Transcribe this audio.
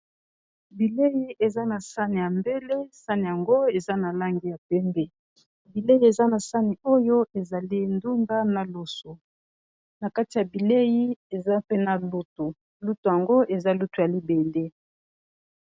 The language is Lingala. bilei eza na sane ya mbele sane yango eza na langi ya pembe. bilei eza na sane oyo ezali ndunda na loso na kati ya bilei eza pena lutu lutu yango eza lutu ya libende